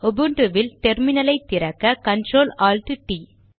உபுன்டுவில் டெர்மினலை திறக்க control alt T T